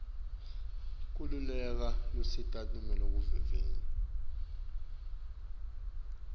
kweluhla lwetinsita loluvunyiwe